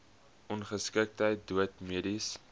ongeskiktheid dood mediese